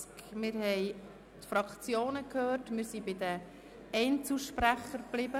Wir haben die Fraktionen gehört und sind bei den Einzelsprechern verblieben.